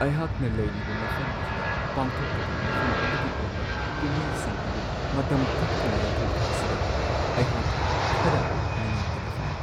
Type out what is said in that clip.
ꯑꯩꯍꯥꯛꯅ ꯂꯩꯔꯤꯕ ꯃꯐꯝ ꯑꯗꯨꯗ ꯄꯥꯡꯊꯣꯛꯀꯗꯕ ꯃꯐꯝ ꯑꯗꯨꯒꯤ ꯑꯣꯏꯕ ꯀꯨꯝꯍꯩꯁꯤꯡ ꯑꯗꯨ ꯃꯇꯝ ꯀꯛꯇꯅ ꯌꯩꯊꯣꯛꯈꯤꯕꯁꯤꯗ ꯑꯩꯍꯥꯛ ꯈꯔ ꯅꯨꯡꯉꯥꯏꯇꯕ ꯐꯥꯎꯋꯤ ꯫